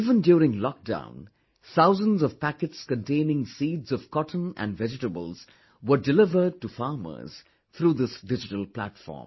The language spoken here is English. Even during lockdown, thousands of packets containing seeds of cotton and vegetables were delivered to farmers through this digital platform